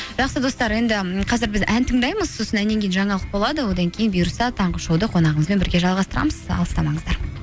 жақсы достар енді қазір біз ән тыңдаймыз сосын әннен кейін жаңалық болады одан кейін бұйырса таңғы шоуды қонағымызбен бірге жалғастырамыз алыстамаңыздар